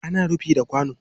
Ana rufi da kwano